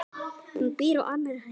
Hún býr á annarri hæð.